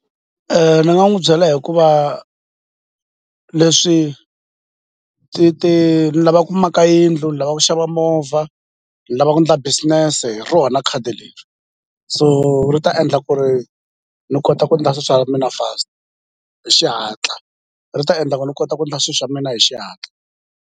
ni nga n'wi byela hikuva leswi ni lava ku maka yindlu ni lava ku xava movha ni lava ku ndla business-e hi rona khadi leri so ri ta endla ku ri ni kota ku ndla swi swa mina fast hi xihatla ri ta endla ku ni kota ku ndla swi swa mina hi xihatla.